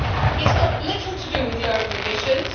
It has got little to do with lowering emissions.